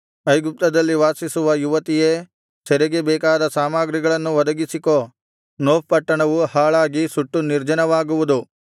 ಐಗುಪ್ತದಲ್ಲಿ ವಾಸಿಸುವ ಯುವತಿಯೇ ಸೆರೆಗೆ ಬೇಕಾದ ಸಾಮಗ್ರಿಗಳನ್ನು ಒದಗಿಸಿಕೋ ನೋಫ್ ಪಟ್ಟಣವು ಹಾಳಾಗಿ ಸುಟ್ಟು ನಿರ್ಜನವಾಗುವುದು